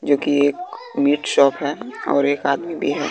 जो कि एक मिट शॉप है और एक आदमी भी हैं।